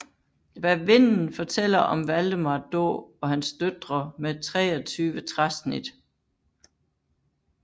Hvad vinden fortæller om Valdemar Daa og hans døtre med 23 træsnit